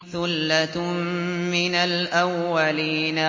ثُلَّةٌ مِّنَ الْأَوَّلِينَ